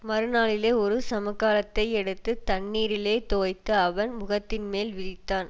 மறு நாளிலே ஒரு சமுக்காளத்தை எடுத்து தண்ணீரிலே தோய்த்து அவன் முகத்தின்மேல் விரித்தான்